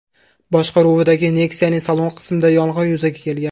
boshqaruvidagi Nexia’ning salon qismida yong‘in yuzaga kelgan .